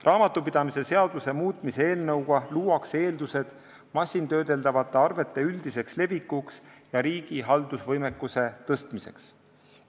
Raamatupidamise seaduse muutmise seaduse eelnõuga luuakse eeldused masintöödeldavate arvete üldiseks levikuks ja riigi haldusvõimekuse parandamiseks.